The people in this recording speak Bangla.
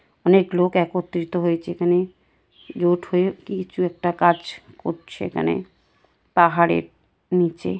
অনেক লোক একত্রিত হয়েছে এখানে । জোট হয়ে কিছু একটা কাজ করছে এখানে পাহাড়ের নিচে ।